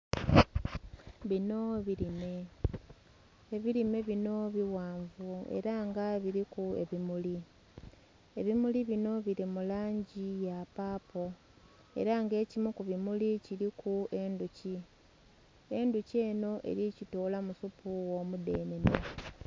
Binho birime, ebirime binho bighanvu era nga biriku ebimuli, ebimuli binho birimulangi yapapo era nga ekimu kukimuli kiriku endhuki, endhuki enho eri kitolamu suupo ogho mudhenhenhe.